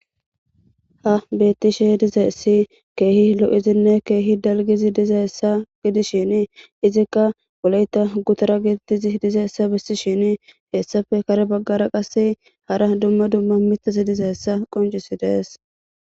Ha bettishe dizaessi keehi lo'izinne keehi dalgizi diza essa gidishin izikka goleyta gutara gitizi diza essa bissi shin hessafe kare baggara qasse hara dumma dumma mitas diza hessa qoncisi dees.